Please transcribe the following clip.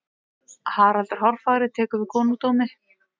haraldur hárfagri tekur við konungdómi